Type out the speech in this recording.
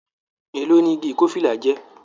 Èló ni igi ikofila jẹ́?